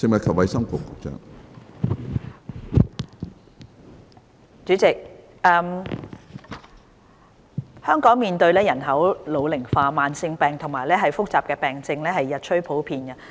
主席，香港面對人口老齡化，慢性疾病和複雜病症日趨普遍。